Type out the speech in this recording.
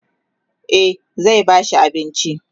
e zai ba shi abinci